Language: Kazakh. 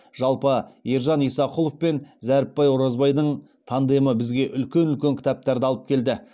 жалпы ержан исақұлов пен зәріпбай оразбайдың тандемі бізге үлкен үлкен кітаптарды алып келді